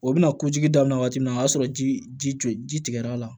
O bɛna kojigi daminɛ waati min na o y'a sɔrɔ ji jɔ ji tigɛ l'a la